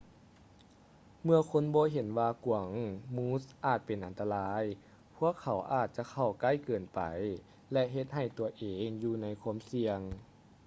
ເມື່ອຄົນບໍ່ເຫັນວ່າກວາງມູສອາດເປັນອັນຕະລາຍ ພວກເຂົາອາດຈະເຂົ້າໃກ້ເກີນໄປ ແລະ ເຮັດໃຫ້ຕົວເອງຢູ່ໃນຄວາມສ່ຽງ